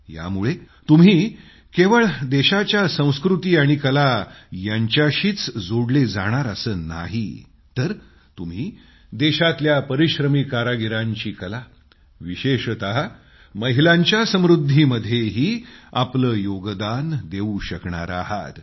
यामुळे तुम्ही केवळ देशाच्या संस्कृती आणि कला यांच्याशीच जोडले जाणार असं नाही तर तुम्ही देशातल्या परिश्रमी कारागिरांची कला विशेषतः महिलांच्या समृद्धीमध्येही आपले योगदान देवू शकणार आहात